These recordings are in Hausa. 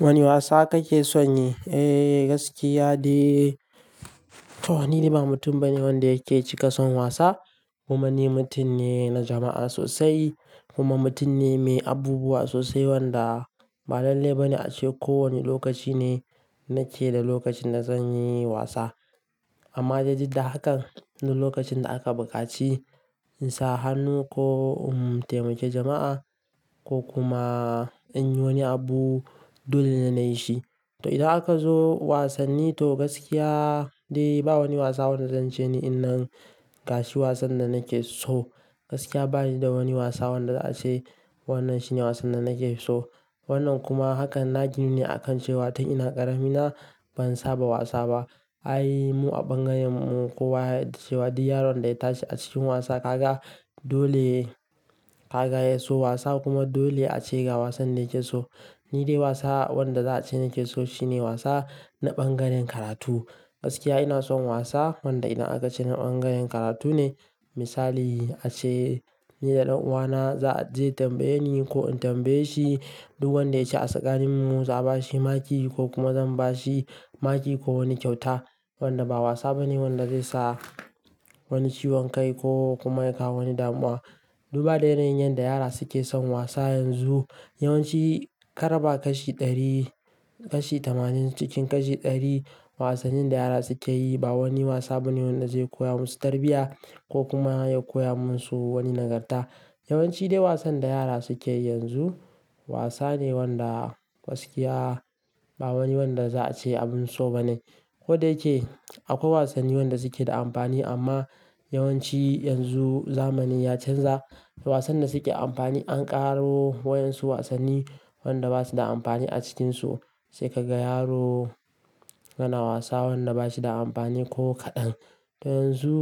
Wani wasa kake son yi? Eh gaskiya dai to wani dai ba mutum bane wanda yake cika son wasa. Kuma ni mutum ne na jama'a sosai. Kuma mutum ne mai abubuwa sosai wanda ba lanleba ne ace ko wani lokaci ne nake da lokacin da zan yi wasa. Amma da didda hakan na lokacin da aka bukaci in sa hannu ko in taimake jama'a ko kuma in yi wani abu dole ne na yi shi. To idan aka zo wasanni to gaskiya dai ba wani wasa wanda zance ne innan gashi wasan da nake so. Gaskiya ba ni da wani wasa wanda za a ce wannan shine wasan da nake so. Wannan kuma hakan na gini ne akan cewa ta ina ƙarami na ban saba wasa ba. Ai mu a bangaren mu kowa ya yadda cewa duk yaron da ya tashi a cikin wasa ka ga dole ka ga ya so wasa kuma dole a ce ga wasan da yake so. Ni dai wasa wanda za a ce nake so shine wasa na bangaren karatu. Gaskiya ina son wasa wanda ina aka ce na bangaren karatu ne. Misali a ce ni da ɗan uwana za zai tambaye ni ko in tambaye shi duk wanda ya ci a tsakanin mu za a ba shi maki ko kuma zan ba shi maki ko wani kyauta wanda ba wasa bane wanda zai sa wani ciwon kai ko kuma ya kawo wani damuwa. Duba da yanayin yadda yara suke son wasa yanzu yawanci akaraba kashi ɗari kashi tamanin cikin kashi ɗari wasannin da yara suke yi ba wani wasa bane wanda zai koya musu tarbiyya ko kuma ya koya musu wani nagarta. Yawanci dai wasan da yara suke yi yanzu wasa ne wanda gaskiya ba wani wanda za a ce abin so ba ne. Ko da yake akwai wasanni wanda suke da amfani amma yawanci yanzu zamani ya canza wasan da suke amfani an ƙaro wa yanzu wasanni wanda basu da amfani a cikinsu. Sai ka ga yaro yana wasa wanda bashi da amfani ko kaɗan. To yanzu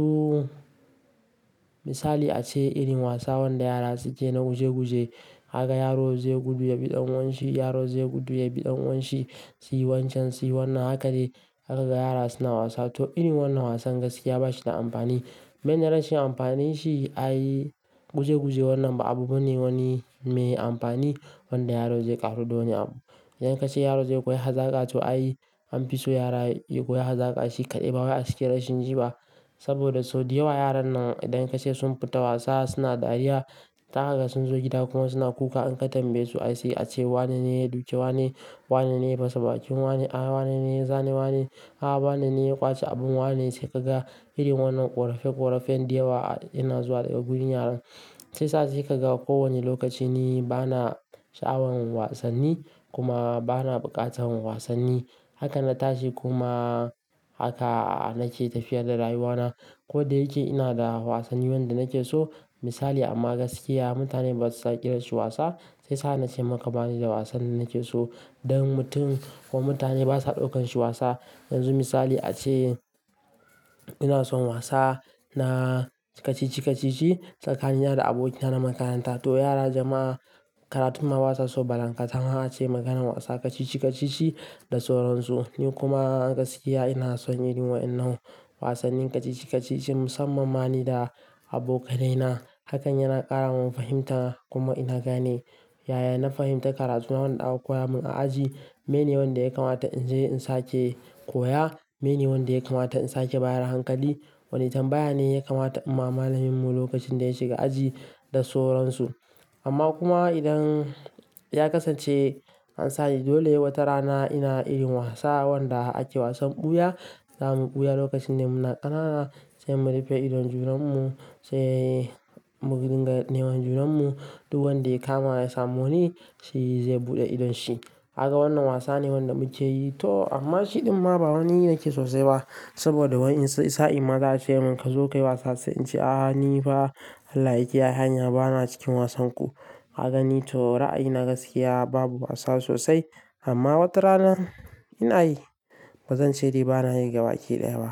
misali a ce irin wasa wanda yara suke na guje guje haka yaro zai gudu ya biɗan wanshi yaro zai gudu ya biɗan wanshi su yi wancan su yi wannan haka dai aka ga yara suna wasa. To irin wannan wasan gaskiya ba shi da amfani. Man yaranshin amfanin shi ayi guje guje wannan ba abu bane wani me amfani wanda yaro zai ƙaru don ya abu. Idan ka ce yaro zai koya hazaka to ai an fi so yara ya koyi hazaka shi kaɗai ba wai acikin rashi jiba. Saboda sau da yawa yaran nan idan ka ce sun fita wasa suna dariya ta haka sun zo gida kuma suna kuka in ka tambaye su sai a ce wanene ya duke wanene, wanene ya fasa bakin wane, a wanene ya zane wane, a wanene ya ƙwace abun wanene sai ka ga irin wannan ƙorafen ƙorafen da yawa yana zuwa daga gurin yaran. Shiyasa sai ka ga ko wani lokaci ne bana sha'awan wasanni kuma bana bukatar wasanni. Haka na tashi kuma haka nake tafiyar da rayuwana. Ko da yake ina da wasanni wanda nake so misali amma gaskiya mutane basu iya kirashi wasa shiyasa na ce maka bani da wasan da nake so. Don mutum ko mutane basa ɗaukan shi wasa. Yanzu misali a ce ina son wasa na kacici kacici tsakanin yara da abokina na makaranta. To yara jama'a karatu ma basa so balankatama ace maganar a ce maganan wasa kacici kacici da sauransu. Ni kuma gaskiya ina son irin wa'innan wasannin kacici kacici musammani da abokanaina. Hakan yana ƙara mun fahimta kuma ina gane yaya na fahimtar karatuna wanda aka koya mun a aji mene wanda ya kamata in je in sake koya, mene wanda ya kamata in sake bayar hankali, wane irin bayani ne ya kamata in ma malamin mu lokacin da ya shiga aji da sauransu. Amma kuma idan ya kasance an sani dole wata rana ina irin wasa wanda ake wasan ɓuya za mu ɓuya lokacin da muna ƙanana sai mu rufe idon junan mu sai mu dinga neman junan mu duk wanda ya kama ya samu wani shi zai buɗe idon shi. Haka wannan wasa ne wanda muke yi to amma shi ɗumma ba wani yake sosai ba saboda wai in sai sa'in ma za a ce mun ka zo ka yi wasa sai in ce a ni fa Allah ya kiyaye hanya bana cikin wasan ku. Kagani to ra'ayina gaskiya babu wasa sosai amma wata rana ina yi bazan ce dai bana yi gaba ake daya ba.